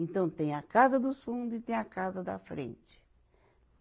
Então tem a casa dos fundo e tem a casa da frente.